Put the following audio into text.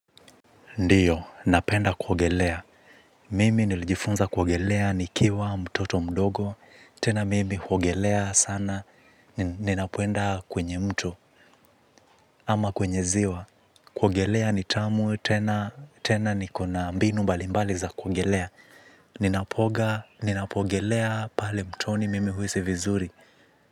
Ndiyo, napenda kuogelea. Mimi nilijifunza kuogelea nikiwa mtoto mdogo. Tena mimi huogelea sana. Ninapoenda kwenye mto ama kwenye ziwa. Kuogelea ni tamu. Tena tena niko na mbinu mbalimbali za kuogelea. Ninapooga, ninapoogelea pale mtoni mimi huhisi vizuri.